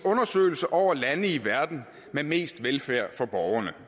undersøgelse over lande i verden med mest velfærd for borgerne